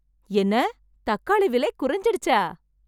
என்ன தக்காளி விலை குறைஞ்சிடுச்சா